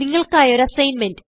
നിങ്ങൾക്കായി ഒരു അസ്സിഗ്ന്മെന്റ്